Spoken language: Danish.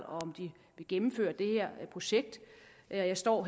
og om de vil gennemføre det her projekt jeg står